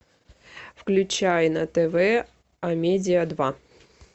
включай на тв амедиа два